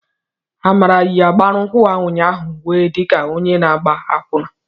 Amara yi mgbaukwu ụnyaahụ wee di ka onye na-agba akwụna.